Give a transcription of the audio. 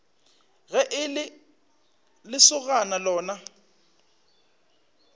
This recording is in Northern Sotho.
ge e le lesogana lona